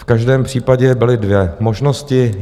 V každém případě byly dvě možnosti.